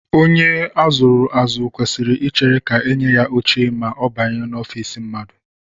Onye a zụrụ azụ kwesịrị ichere ka e nye ya oche ma ọ banye n'ofiisi mmadụ